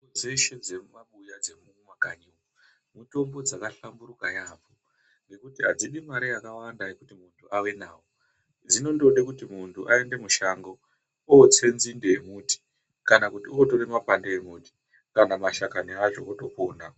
Dzeshe dzemumabuya dzemumakanyi mitombo dzakahlamburika yaambo ngekuti adzisi mare yakawanda kuti muntu ave nawo .Dzinondode kuti aende mushango otse nzinde yemuti kana kuti otore makwande emuti kana madhakani acho otopona.